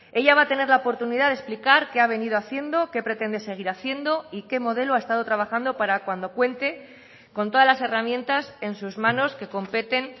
ella va a tener la oportunidad de explicar qué ha venido haciendo qué pretende seguir haciendo y qué modelo ha estado trabajando para cuando cuente con todas las herramientas en sus manos que competen